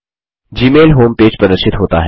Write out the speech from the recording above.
Gmail home page प्रदर्शित होता है